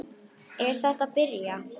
Er þetta að byrja?